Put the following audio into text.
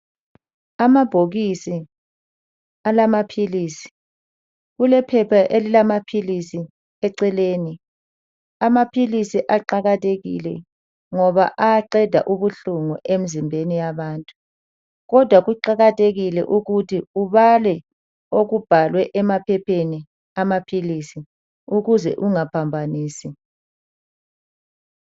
Amabhokisi alamaphilisi kulephepha elilamaphisi eceleni amaphilisi aqakathekile ngoba ayaqeda ubuhlungu emzimbeni yabantu , kodwa kuqakathekile ukuthi ubale okubhalwe emaphepheni amaphilisi ukuze ungaphambanisi.